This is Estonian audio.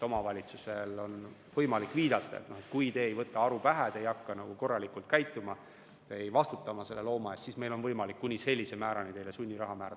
Omavalitsusel on võimalik viidata, et kui te ei võta aru pähe, kui te ei hakka korralikult käituma, ei vastuta oma looma eest, siis meil on võimalik kuni sellise määrani teile sunniraha määrata.